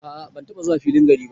A'a ban taba zuwa filin gari ba.